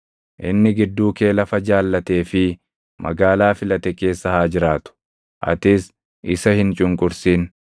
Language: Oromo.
Inni gidduu kee lafa jaallatee fi magaalaa filate keessa haa jiraatu. Atis isa hin cunqursin.